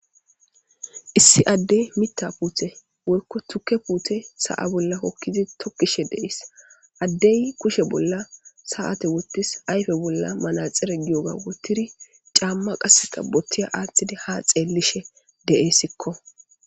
Issi adde mitha pute woyko tuke pute sa'a bola hokidi tokishe de'es addey kushe bola sa'ate wotis ayfe bola manaxire giyoga wotiri c'ama qaseka botiya atidi ha xelishe de'esko.